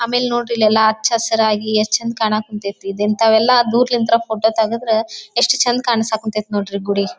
ಆಮೇಲೆ ನೋಡ್ರಿ ಇಲ್ಲಿ ಎಲ್ಲಾ ಅಚ್ಚು ಹಸಿರಾಗಿ ಎಷ್ಟು ಚಂದ ಕಾಣ ಕುಂತೈತಿ ಇಂಥವೆಲ್ಲ ದೂರದಿಂದ ಫೋಟೋ ತೆಗುದ್ರ ಎಷ್ಟು ಚಂದ್ ಕಾಣ್ಸಕತೈತ್ ನೋಡ್ರಿ ಗುಡಿ.